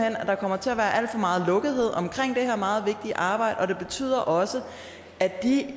at der kommer til at være alt for meget lukkethed omkring det her meget vigtige arbejde og det betyder også